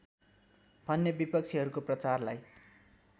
भन्ने विपक्षीहरूको प्रचारलाई